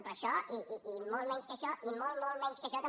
però això i molt menys que això i molt molt menys que això també